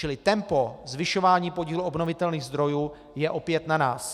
Čili tempo zvyšování podílu obnovitelných zdrojů je opět na nás.